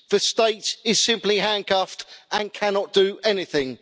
The state is simply handcuffed and cannot do anything'.